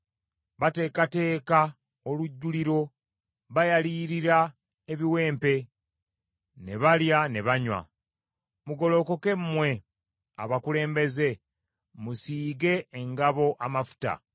Bateekateeka olujjuliro, bayalirira ebiwempe, ne balya, ne banywa! Mugolokoke mmwe abakulembeze, musiige engabo amafuta.